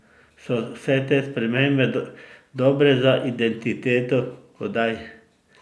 So vse te spremembe dobre za identiteto oddaj?